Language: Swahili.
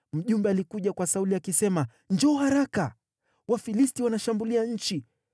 mjumbe alikuja kwa Sauli, akisema, “Njoo haraka! Wafilisti wanaishambulia nchi.”